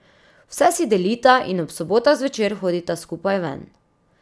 Vse si delita in ob sobotah zvečer hodita skupaj ven.